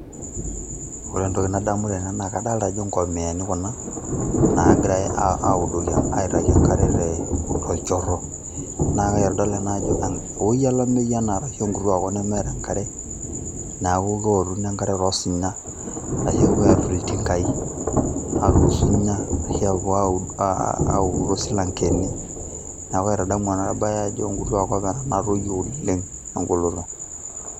ore entoki nadamu tene, naa kadoolta ajo nkomiyani kuna, naagirae aidoki enkare tolchoro, naa kaitadamu ena ajo ewuei olameyu ena, asu enkituaa kop nemeeta enkare, neeku keoruni enkare too sinya, arashu aatur iltingai, aaturu usunya. ashu aapuo aaud, audu toosilankeni. neeku kaitadamu ena bae ajo enkitua kop natoyio oleng egoloto.